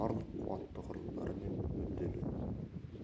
барлық қуатты құрылымдары мен мүдделі